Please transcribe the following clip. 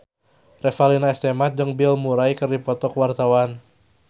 Revalina S. Temat jeung Bill Murray keur dipoto ku wartawan